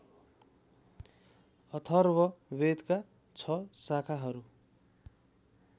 अथर्ववेदका छ शाखाहरू